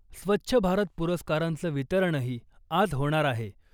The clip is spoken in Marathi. स्वच्छ भारत पुरस्कारांचं वितरणही आज होणार आहे .